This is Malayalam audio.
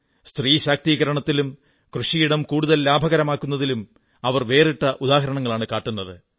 സ്ത്രീ ശാക്തീകരണത്തിലും കൃഷിയിടം കൂടുതൽ ലാഭകരമാക്കുന്നതിലും അവർ വേറിട്ട ഉദാഹരണമാണ് കാട്ടുന്നത്